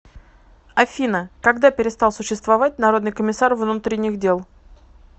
афина когда перестал существовать народный комиссар внутренних дел